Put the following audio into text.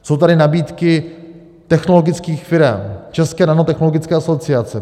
Jsou tady nabídky technologických firem, České nanotechnologické asociace.